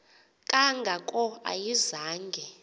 kanga ko ayizange